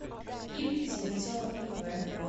ип зеленцова ив